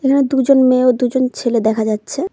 এখানে দুজন মেয়ে ও দুজন ছেলে দেখা যাচ্ছে।